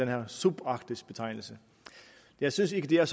her subarktiske betegnelse jeg synes ikke at det er